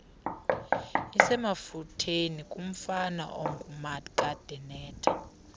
isemafutheni kumfana ongumakadenetha